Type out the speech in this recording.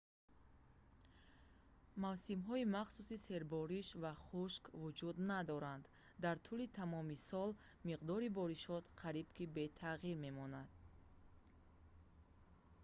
мавсимҳои махсуси «сербориш» ва «хушк» вуҷуд надоранд: дар тӯли тамоми сол миқдори боришот қариб ки бетағйир мемонад